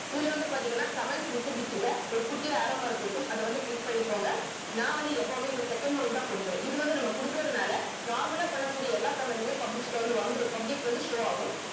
இதுல வந்து பாத்தீங்கன்னா comments visibility ல ஒரு குட்டியா arrow mark இருக்கும் அத வந்து click பண்ணிக்கோங்க நான் வந்து எப்பவுமே இந்த second one தான் குடுப்பேன் இது வந்து நம்ம குடுக்கறதுனால normal ஆ பண்ண கூடிய எல்லா comment உமே public ல வந்து வந்துடும் public ல வந்து show ஆகும்